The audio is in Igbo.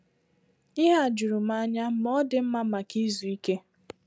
Ihe a juru m anya, ma ọ dị mma maka izu ìké